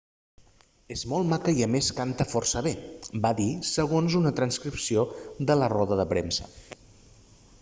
és molt maca i a més canta força bé va dir segons una transcripció de la roda de premsa